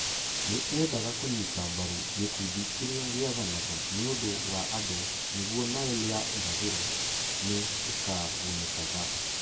Nĩ eendaga kũnyita mbaru gĩkundi kĩrĩa gĩathanaga nĩ ũndũ wa andũ nĩguo Nile ya irathĩro nĩ ĩkagunĩkaga